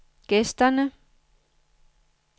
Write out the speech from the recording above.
gæsterne